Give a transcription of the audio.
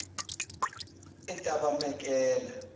etabemakela